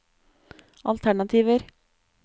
alternativer